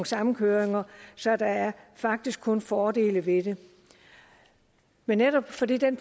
samkøringer så der er faktisk kun fordele ved det men netop fordi den